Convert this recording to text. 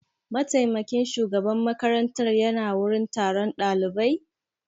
Mataimakin shugaban makaranta ya na wurin taron ɗalibai?